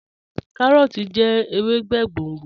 Kàróòtì jẹ̀ èwèbé gbóngbó.